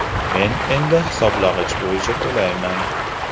Men endi hisoblagich bo‘yicha to‘layman.